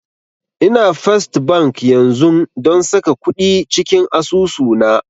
Ina first bank yanzun don saka kuɗi cikin asusu na